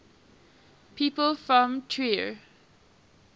people from trier